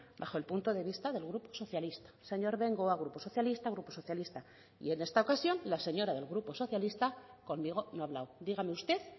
bajo el punto de vista del grupo socialista señor bengoa grupo socialista grupo socialista y en esta ocasión la señora del grupo socialista conmigo no ha hablado dígame usted